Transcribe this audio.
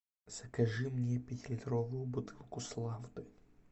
закажи мне пятилитровую бутылку славды